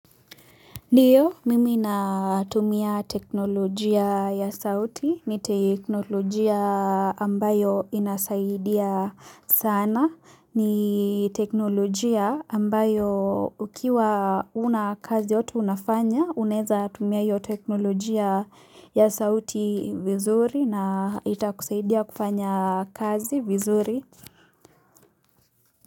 Ndiyo mimi natumia teknolojia ya sauti ni teknolojia ambayo inasaidia sana ni teknolojia ambayo ukiwa una kazi yoto unafanya uneza tumia iyo teknolojia ya sauti vizuri na itakusaidia kufanya kazi vizuri.